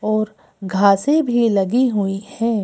और घासे भी लगी हुई है।